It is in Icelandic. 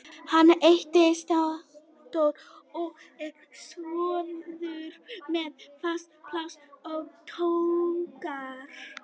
Hann heitir Steindór og er sjómaður með fast pláss á togara.